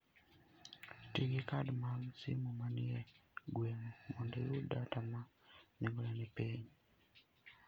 Ti gi kad mag sim manie gweng'u mondo iyud data ma nengogi ni piny.